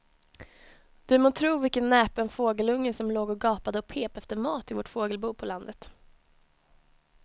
Du må tro vilken näpen fågelunge som låg och gapade och pep efter mat i vårt fågelbo på landet.